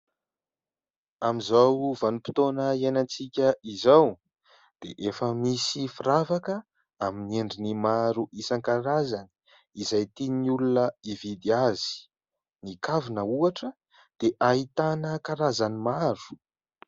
Amin'izao vanim-potoana iainan-tsika izao dia efa misy firavaka amin'ny endriny maro isan-karazany izay tian'ny olona ividy azy. Ny kavina ohatra dia ahitana karazany maro.